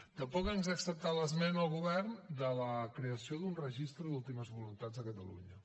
tampoc ens ha acceptat l’esmena el govern de la creació d’un registre d’últimes voluntats a catalunya